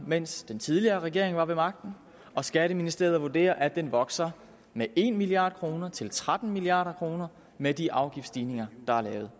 mens den tidligere regering var ved magten og skatteministeriet vurderer at den vokser med en milliard kroner til tretten milliard kroner med de afgiftsstigninger der er lavet